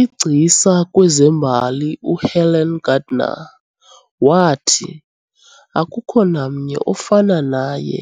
Igcisa kwezembali uHelen Gardner waathi, "Akukho namnye ofana naye